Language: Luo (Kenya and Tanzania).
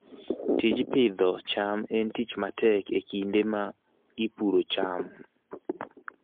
Tij Pidhoo cham en tich matek e kinde ma ipuro cham